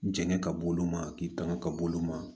Jɛngɛ ka b'olu ma k'i tanga ka b'olu ma